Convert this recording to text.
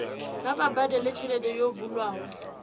kha vha badele tshelede yo bulwaho